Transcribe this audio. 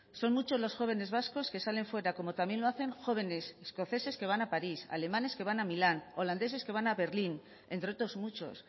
son muchos los jóvenes vascos que salen fuera como también lo hacen jóvenes escoceses que van a paris alemanes que van a milán holandeses que van a berlín entre otros muchos